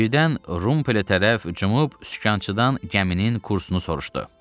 Birdən Rumpele tərəf cumub, sükançıdan gəminin kursunu soruşdu.